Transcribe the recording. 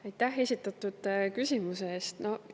Aitäh esitatud küsimuse eest!